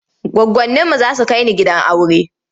Goggoninmu za su kai ni gidan aure.